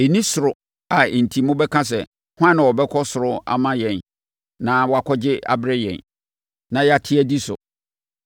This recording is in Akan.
Ɛnni soro a enti mobɛka sɛ, “Hwan na ɔbɛkɔ soro ama yɛn na wakɔgye abrɛ yɛn, na yɛate adi so?”